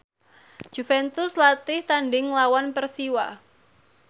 Juventus latih tandhing nglawan Persiwa